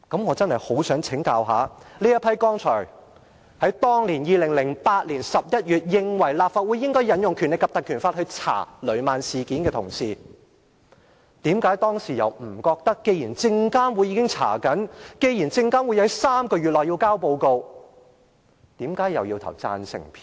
我實在很想請教一下這批於2008年11月認為立法會應引用《立法會條例》，調查雷曼事件的同事，為何當時在證監會已展開調查，並將會於3個月內提交報告的情況下，仍投贊成票？